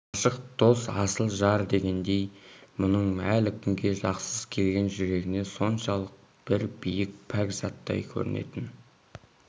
ғашық дос асыл жар дегендер бұның әлі күнге дақсыз келген жүрегіне соншалық бір биік пәк заттай көрінетін